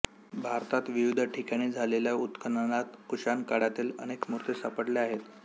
भारतात विविध ठिकाणी झालेल्या उत्खननात कुशाण काळातील अनेक मूर्ती सापडल्या आहेत